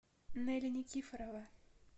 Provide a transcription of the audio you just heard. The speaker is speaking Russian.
нелли никифорова